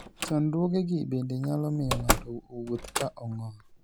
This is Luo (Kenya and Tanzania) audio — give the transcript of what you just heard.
Chandruogegi bende nyalo miyo ng'ato owuoth ka ong'ol.